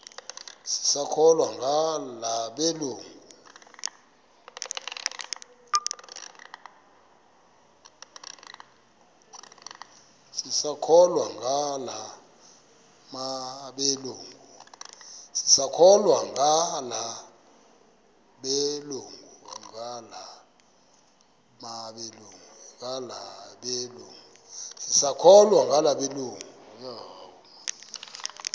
sisakholwa ngala mabedengu